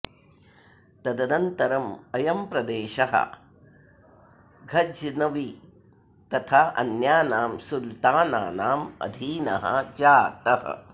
तदनन्तरम् अयं प्रदेशः घज्नवि तथा अन्यानां सुल्तनानाम् अधीनः जातः